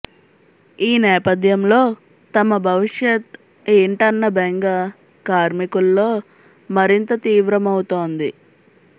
ఈ నేపథ్యంలో తమ భవిష్యత్ ఏంటన్న బెంగ కార్మికుల్లో మరింత తీవ్రమవుతోంది